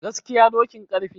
gaskiya dokin karfe